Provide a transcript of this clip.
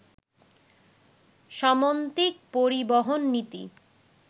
সমন্বিত পরিবহন নীতি